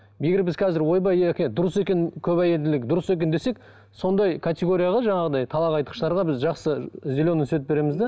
егер біз қазір ойбай дұрыс екен көп әйелділік дұрыс екен десек сондай категорияға жаңағыдай талақ айтқыштарға біз жақсы зеленый свет береміз де